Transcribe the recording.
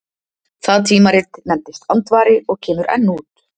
Það tímarit nefndist Andvari og kemur enn út.